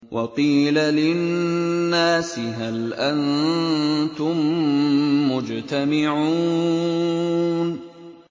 وَقِيلَ لِلنَّاسِ هَلْ أَنتُم مُّجْتَمِعُونَ